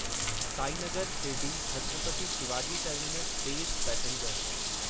Sainagar Shirdi Chhatrapati Shivaji terminus तेज़ passenger